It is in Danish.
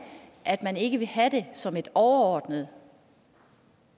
at man ikke vil have det som et overordnet